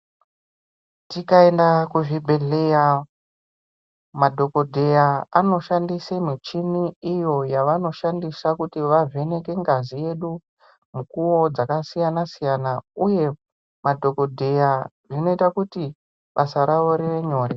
Tikaenda kuzvibhehleya madhokodheya anoshandise muchini iyo yavanoshandisa kuti vavheneke ngazi yedu mukuwo dzakasiyana siyana uye madhokodheya zvinoita kuti basa ravo rive nyore.